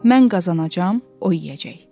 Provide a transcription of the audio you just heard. Mən qazanacam, o yeyəcək.